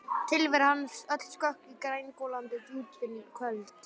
Tilvera hans öll sökk í grængolandi djúpin köld.